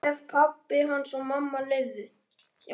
Ef pabbi hans og mamma leyfðu.